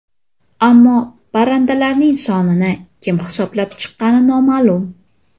Ammo parrandalarning sonini kim hisoblab chiqqani noma’lum.